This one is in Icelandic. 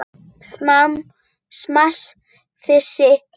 Samt- þessi grunur.